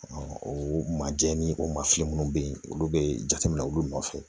o majɛ ni o ma fin minnu bɛ yen olu bɛ jateminɛ olu nɔfɛ